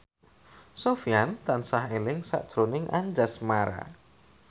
Sofyan tansah eling sakjroning Anjasmara